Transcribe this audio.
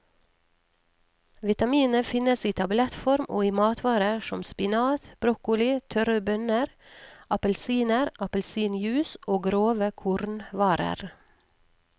Vitaminet finnes i tablettform og i matvarer som spinat, broccoli, tørre bønner, appelsiner, appelsinjuice og grove kornvarer.